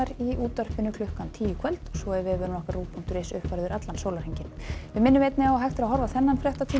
í útvarpi klukkan tíu í kvöld og vefurinn rúv punktur is er uppfærður allan sólarhringinn við minnum einnig á að hægt er að horfa á þennan fréttatíma